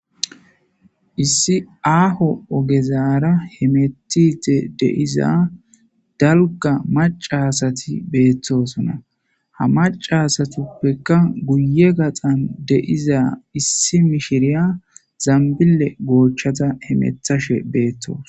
issi aaho ogezaara he metite deiza dalga macasati beettosonna ha macasatuppekka guye gaxan deiza issi mishiriya zambile goochchada hemethashe beettoos